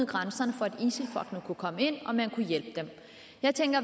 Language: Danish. grænserne for at isil folkene kunne komme ind og at man kunne hjælpe dem